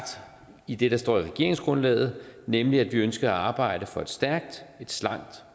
i det der står i regeringsgrundlaget nemlig at vi ønsker at arbejde for et stærkt et slankt